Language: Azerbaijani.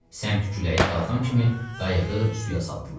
Səmt küləyi qalxan kimi qayığı suya saldılar.